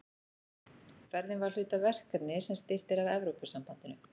Ferðin var hluti af verkefni sem styrkt er af Evrópusambandinu.